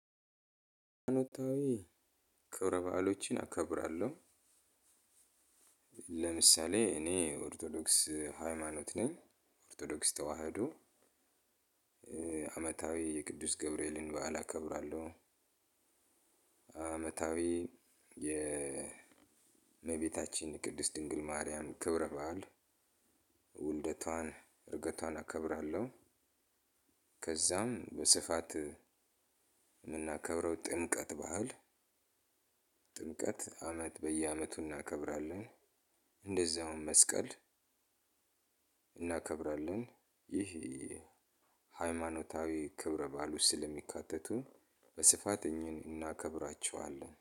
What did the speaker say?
አመታዊ ክብረ በዓሎችን አከብራለሁ። ለምሳሌ እኔ ኦርቶዶክስ ሃይማኖት ነኝ ኦርቶዶክስ ተዋህዶ። አመታዊ የቅዱስ ገብርኤልን በዓል አከብራለሁ። አመታዊ የ የእመቤታችን ቅድስት ድንግል ማርያም ክብረ በዓል ውልደቷን እርገቷን አከብራለሁ። ከዛም በስፋት የምናከብረው ጥምቀት ባህል ጥምቀት አመት በየአመቱ እናከብራለን። እንደዛውም መስቀል እናከብራለን። ይህ ሃይማኖታዊ ክብረ ባል ውስጥ ስለሚካተቱ በስፋት እናከብራቸዋለን